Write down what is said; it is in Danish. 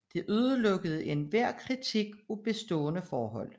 Det udelukkede enhver kritik af bestående forhold